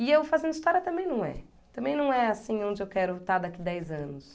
E o Fazendo História também não é. Também não é assim onde eu quero estar daqui dez anos.